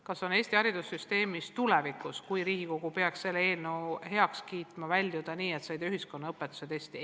Kas on Eesti haridussüsteemis – tulevikus, kui Riigikogu peaks selle eelnõu heaks kiitma – võimalik põhikool lõpetada nii, et sa ei tee ühiskonnaõpetuse testi?